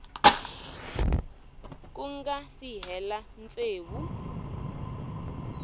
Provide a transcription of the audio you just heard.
ku nga si hela tsevu